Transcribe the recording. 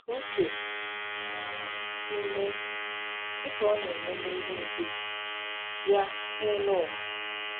" Ka uche um gị mee, dị ka ọ na-eme n'eluigwe, ya na n'elu ụwa."